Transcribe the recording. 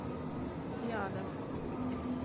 триада